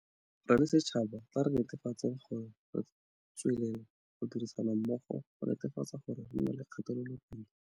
Re le setšhaba, tla re nete fatseng gore re tswelela go dirisana mmogo go netefatsa gore re nna le kgatelopele.